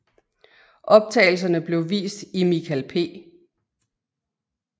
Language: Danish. Optagelserne blev vist i Michael P